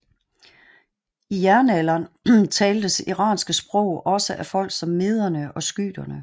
I jernalderen taltes iranske sprog også af folk som mederne og skyterne